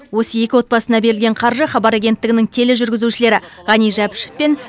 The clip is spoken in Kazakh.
осы екі отбасына берілген қаржы хабар агенттігінің тележүргізушілері ғани жапишов пен